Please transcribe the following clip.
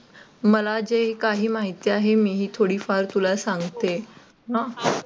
मला जे काही माहिती आहे मी हे थोडीफार तुला सांगते.